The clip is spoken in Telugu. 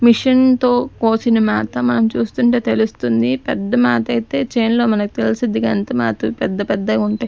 మిషన్ తో కోసిన మేత మనం చూస్తుంటే తెలుస్తుంది పెద్ద మాతైతే చెన్లో మనకు తెలుసు ఎంత మాత్రం పెద్ద పెద్దగా ఉంటాయి.